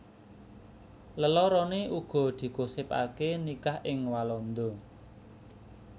Leloroné uga digosipaké nikah ing Walanda